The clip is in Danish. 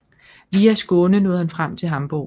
Via Skåne nåede han frem til Hamborg